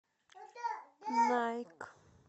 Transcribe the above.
найк